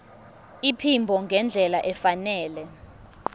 iphimbo ngendlela efanele